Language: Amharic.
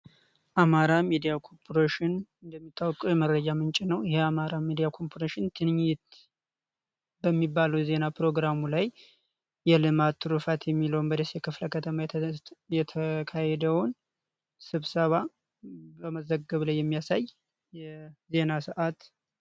አማራ ሚዲያ ኮርፖሬሽን እንደሚታወቀው የመረጃ ምንጭ ነው። ይህ የአማራ ሚዲያ ኮርፖሬሽን ጉብኝት በሚባሉ የዜና ፕሮግራሙ ላይ የልማት ትሩፋት የሚለውን በደሴ ከተማ የተካሄደውን ስብሰባ በመዘገብ ላይ የሚያሳይ የዜና ሰዓት።